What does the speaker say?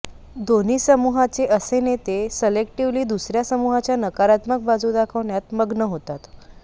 दोन्ही समूहाचे असे नेते सलेक्टीव्हली दुसऱ्या समूहाच्या नकारात्मक बाजू दाखवण्यात मग्न होतात